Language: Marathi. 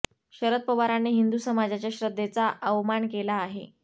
शरद पवारांनी हिंदू समाजाच्या श्रद्धेचा अवमान केला आहे